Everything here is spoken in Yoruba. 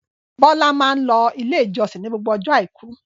Bọ́lá máa ń lọ Ilé-ìjọsìn ní gbogbo ọjọ́ àìkú.